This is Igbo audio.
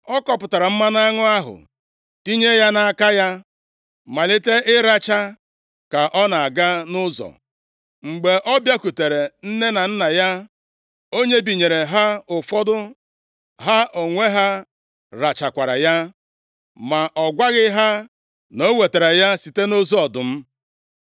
Ọ kọpụtara mmanụ aṅụ ahụ tinye nʼaka ya, malite ịracha ka ọ na-aga nʼụzọ. Mgbe ọ bịakwutere nne na nna ya, o nyebinyere ha ụfọdụ, ha onwe ha rachakwara ya. Ma ọ gwaghị ha na o wetara ya site nʼozu ọdụm.